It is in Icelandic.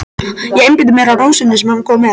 Ég einbeiti mér að rósinni sem hann kom með.